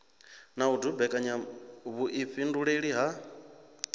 na u dumbekanya vhuifhinduleli ha